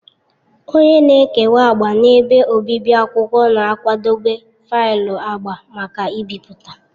Onye na-ekewa agba na ebe obibi akwụkwọ na-akwadebe faịlụ agba maka ibipụta.